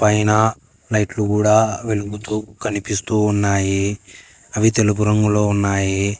పైన లైట్లు గూడ వెలుగుతూ కనిపిస్తూ ఉన్నాయి అవి తెలుపు రంగులో ఉన్నాయి.